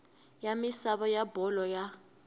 ya misava ya bolo ya